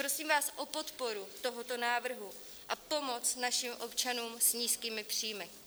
Prosím vás o podporu tohoto návrhu a pomoc našim občanům s nízkými příjmy.